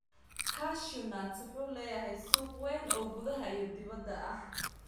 Cashew nuts wuxuu leeyahay suuq weyn oo gudaha iyo dibadda ah.